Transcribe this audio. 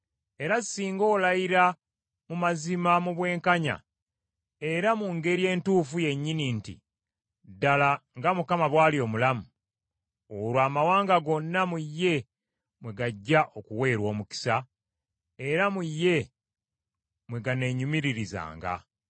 era singa olayira mu mazima, mu bwenkanya era mu ngeri entuufu yennyini nti, ‘Ddala nga Mukama bw’ali omulamu,’ olwo amawanga gonna mu ye mwe gajja okuweerwa omukisa era mu ye mwe ganeenyumiririzanga.”